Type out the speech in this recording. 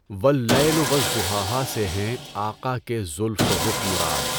واللیل و والضحیٰ سے ہیں آقا کے زلف و رخ مراد